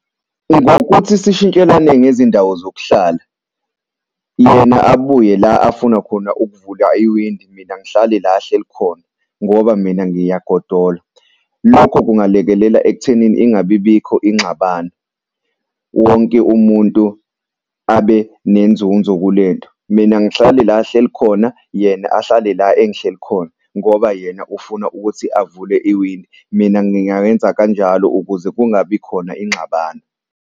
Ngokuthi sishintshelane ngezindawo zokuhlala, yena abuye la afuna khona ukuvula iwindi. Mina ngihlale la ahleli khona ngoba mina ngiyagodola. Lokho kungalekelela ekuthenini ingabi bikho ingxabano, wonke umuntu abe nenzunzo kulento. Mina ngihlale la ahleli khona, yena ahlale la engihleli khona ngoba yena ufuna ukuthi avule iwindi. Mina ngingayenza kanjalo ukuze kungabi khona ingxabano.